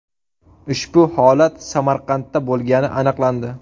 Ushbu holat Samarqandda bo‘lgani aniqlandi.